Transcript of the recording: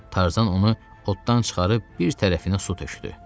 Tarzan onu oddan çıxarıb bir tərəfinə su tökdü.